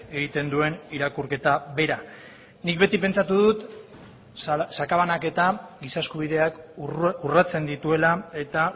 egiten duen irakurketa bera nik beti pentsatu dut sakabanaketa giza eskubideak urratzen dituela eta